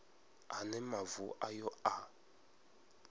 a ne mavu ayo a